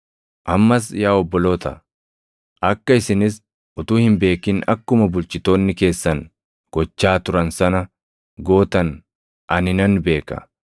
“Ammas yaa obboloota, akka isinis utuu hin beekin akkuma bulchitoonni keessan gochaa turan sana gootan ani nan beeka.